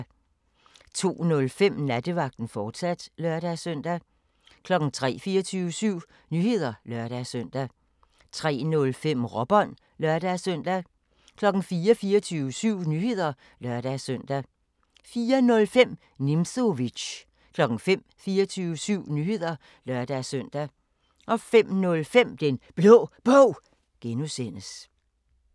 02:05: Nattevagten, fortsat (lør-søn) 03:00: 24syv Nyheder (lør-søn) 03:05: Råbånd (lør-søn) 04:00: 24syv Nyheder (lør-søn) 04:05: Nimzowitsch 05:00: 24syv Nyheder (lør-søn) 05:05: Den Blå Bog (G)